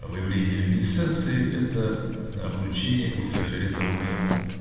выявление люминесценции это облучение ультрафиолетовыми